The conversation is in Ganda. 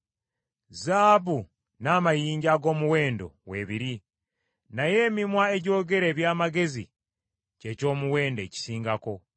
Zaabu n’amayinja ag’omuwendo weebiri, naye emimwa egyogera eby’amagezi kye ky’omuwendo ekisingako.